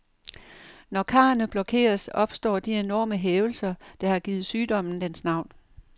Når karrene blokeres, opstår de enorme hævelser, der har givet sygdommen dens navn.